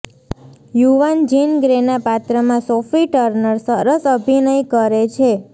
યુવાન જિન ગ્રેના પાત્રમાં સોફી ટર્નર સરસ અભિનય કરે છે